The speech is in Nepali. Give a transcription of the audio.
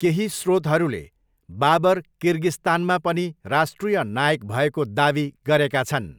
केही स्रोतहरूले बाबर किर्गिस्तानमा पनि राष्ट्रिय नायक भएको दावी गरेका छन्।